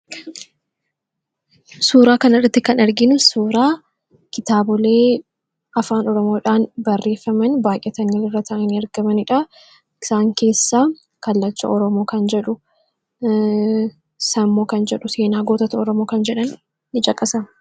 suuraa kana irratti kan arginu suuraa kitaablee afaan oramoodhaan barreeffaman baay'atanii mul'atani ergamaniidha. isaan keessaa kallacha oromoo kan jedhu, sammoo kan jedhu, seenaa gootata oromoo kan jedhan in caqasamu